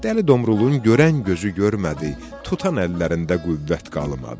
Dəli Domrulun görən gözü görmədi, tutan əllərində qüvvət qalmadı.